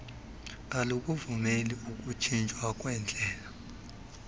alukuvumeli ukutshintshwa kwendlela